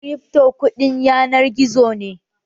Kirifto kuɗin yanar gizo ne